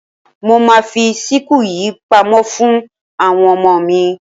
Mo ma fi síkù yìí pamọ́ fún àwọn ọmọmo mi.